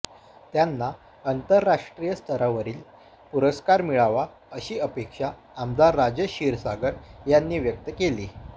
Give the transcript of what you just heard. त्यांना आंतरराष्ट्रीय स्तरावरील पुरस्कार मिळावा अशी अपेक्षा आमदार राजेश क्षीरसागर यांनी व्यक्त केली